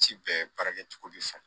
Ci bɛɛ baara kɛcogo bɛ san